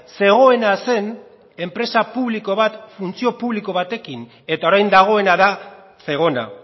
zegoena zen enpresa publiko bat funtzio publiko batekin eta orain dagoena da zegona